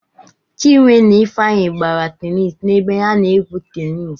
Chinwe na Ifeanyị gbara tenis nebe a na-egwu tenis.